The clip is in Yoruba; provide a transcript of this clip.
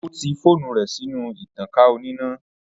Ó kí fóònù rẹ̀ sínú ìtankà oníná